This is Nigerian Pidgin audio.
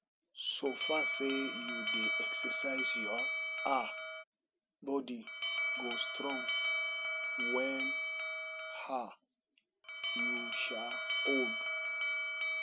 so far say you dey exercise your um body go strong wen um you um old